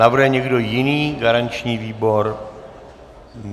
Navrhuje někdo jiný garanční výbor?